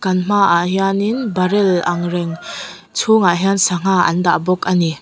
kan hmaah hianin barrel ang reng chhungah hian sangha an dah bawk a ni.